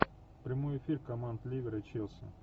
прямой эфир команд ливер и челси